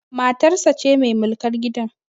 Matarsa ce mai mulkar gidan